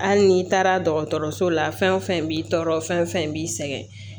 Hali n'i taara dɔgɔtɔrɔso la fɛn o fɛn b'i tɔɔrɔ fɛn fɛn b'i sɛgɛn